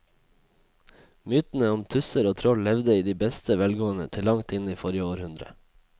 Mytene om tusser og troll levde i beste velgående til langt inn i forrige århundre.